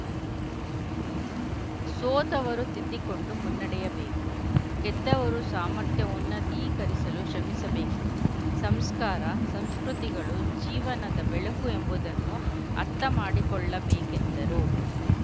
ಸೋತವರು ತಿದ್ದಿಕೊಂಡು ಮುನ್ನಡೆಯಬೇಕು ಗೆದ್ದವರು ಸಾಮರ್ಥ್ಯ ಉನ್ನತೀಕರಿಸಲು ಶ್ರಮಿಸಬೇಕು ಸಂಸ್ಕಾರ ಸಂಸ್ಕೃತಿಗಳು ಜೀವನದ ಬೆಳಕು ಎಂಬುದನ್ನು ಅರ್ಥಮಾಡಿಕೊಳ್ಳಬೇಕೆಂದರು